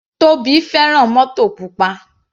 Tobi fẹ́ràn mótò pupa.